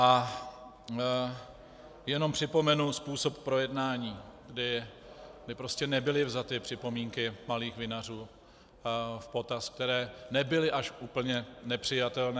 A jenom připomenu způsob projednání, kdy prostě nebyly vzaty připomínky malých vinařů v potaz, které nebyly až úplně nepřijatelné.